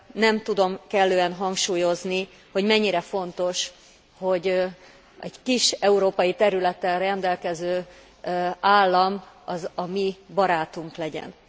Nem tudom kellően hangsúlyozni, hogy mennyire fontos, hogy egy kis európai területtel rendelkező állam a mi barátunk legyen.